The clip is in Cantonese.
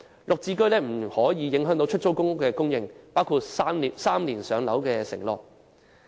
"綠置居"不得影響出租公屋的供應，包括 "3 年上樓"的承諾。